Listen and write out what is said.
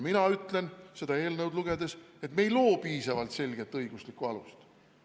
Mina ütlen seda eelnõu lugedes, et me ei loo piisavalt selget õiguslikku alust.